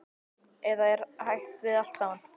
Eða er hætt við allt saman?